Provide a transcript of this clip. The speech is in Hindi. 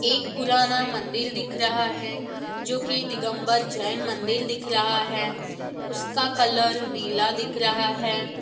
एक पुराना मंदील दिख रहा है जो की दिगम्बल जैन मंदील दिख रहा है उसका कलर नीला दिख रहा है।